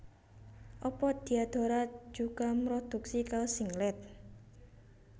Apa Diadora juga mroduksi kaos singlet?